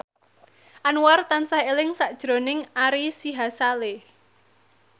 Anwar tansah eling sakjroning Ari Sihasale